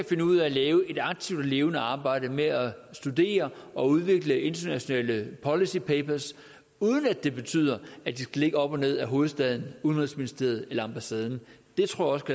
finde ud af at lave et aktivt og levende arbejde med at studere og udvikle internationale policy papers uden at det betyder at de skal ligge op og ned ad hovedstaden udenrigsministerium eller ambassaderne det tror